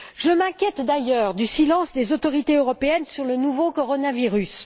Je m'inquiète d'ailleurs du silence des autorités européennes sur le nouveau coronavirus.